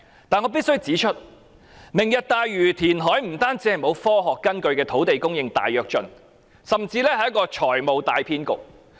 但是，我必須指出，"明日大嶼"填海不單是沒有科學根據的土地供應大躍進，甚至是財務大騙局。